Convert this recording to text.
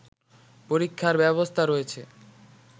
পরীক্ষার ব্যবস্থা রয়েছে